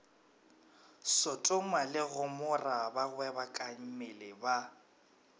sotoma le gomora bagwebakammele ba